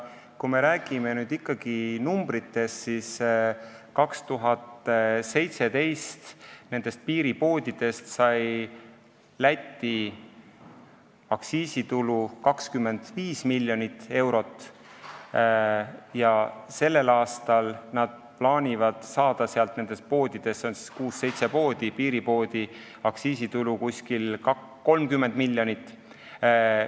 Kui me räägime summadest, siis 2017. aastal sai Läti nendest piiripoodidest aktsiisitulu 25 miljonit ja sellel aastal nad plaanivad seda saada nendest piiripoodidest, mida on kuus-seitse, aktsiisitulu umbes 30 miljonit eurot.